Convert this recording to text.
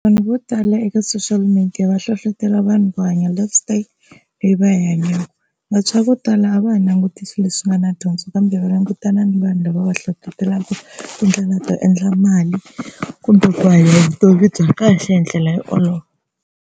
Vanhu vo tala eka social media va hlohlotela vanhu va hanya life style leyi va yi hanyaka. Vantshwa vo tala a va ha languti leswi nga na dyondzo kambe va langutana ni vanhu lava va hlohlotelaka tindlela to endla mali kumbe ku hanya vutomi bya kahle hi ndlela yo olova.